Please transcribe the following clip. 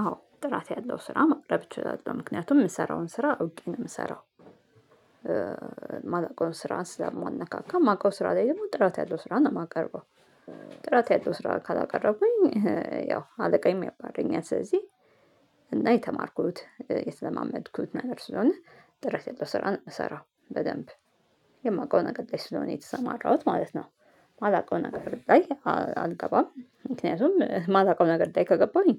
አዎ ጥራት ያለው ስራ ማቅረብ እችላለሁ ምክንያቱም የምሰራውን ስራ አውቄ ነው የምሰራው። ማላውቀውን ስራ ስላማነካካ ማውቀው ስራ ላይ ደግሞ ጥራት ያለው ስራ ነው የማቀርበው። ጥራት ያለው ስራ ካላቀረብኩኝ ያው አለቃዬም ያባረኝ ስለዚህ። እና የተማርኩት የተለማመድኩት ነገር ስለሆነ ጥራት ያለው ስራ ነው የምሰራው በደንብ የማውቀው ነገር ላይ ስለሆነ የተሰማራሁት ማለት ነው። የማላውቀው ነገር ላይ አልገባም ምክንያቱም የማላውቀው ነገር ላይ ከገባሁኝ